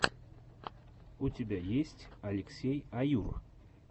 у тебя есть алексей аюр